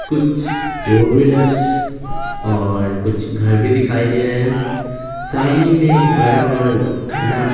कुछ four wheelers और कुछ घर भी दिखाई दे रहे हैं सामने में बड़ा और घना---